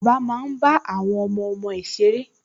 Bàbá máa ń bá àwọn ọmọọmọ ẹ̀ ṣeré